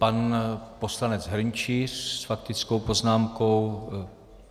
Pan poslanec Hrnčíř s faktickou poznámkou.